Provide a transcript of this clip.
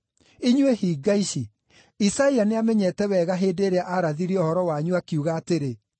Inyuĩ hinga ici! Isaia nĩamenyete wega hĩndĩ ĩrĩa aarathire ũhoro wanyu, akiuga atĩrĩ: